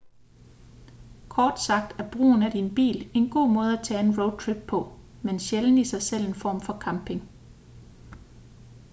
kort sagt er brugen af din bil en god måde at tage en roadtrip på men sjældent i sig selv en form for camping